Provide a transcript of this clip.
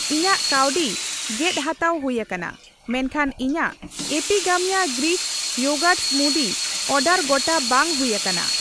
ᱤᱧᱟᱜ ᱠᱟᱣᱰᱤ ᱜᱮᱫ ᱦᱟᱛᱟᱣ ᱦᱩᱭ ᱟᱠᱟᱱᱟ, ᱢᱮᱱᱠᱷᱟᱱ ᱤᱧᱟᱜ Epigamia Greek yogurt smoothie order ᱜᱚᱴᱟ ᱵᱟᱝ ᱦᱩᱭ ᱟᱠᱟᱱᱟ ᱾